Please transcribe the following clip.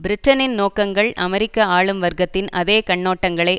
பிரிட்டனின் நோக்கங்கள் அமெரிக்க ஆளும் வர்க்கத்தின் அதே கண்ணோட்டங்களை